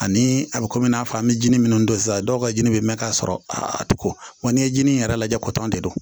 Ani a bɛ komi i n'a fɔ an bɛ jinin minnu don sisan dɔw ka jini bɛ mɛn ka sɔrɔ a tɛ ko wa n'i ye jinin yɛrɛ lajɛ kɔtɔn de don